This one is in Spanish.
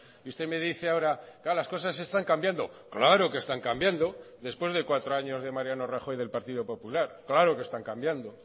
y usted me dice ahora claro las cosas están cambiando claro que están cambiando después de cuatro años de mariano rajoy y del partido popular claro que están cambiando